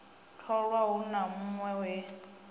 tholwa hu na hunwe he